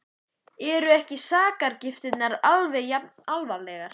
Eru ekki sakargiftirnar alveg jafn alvarlegar?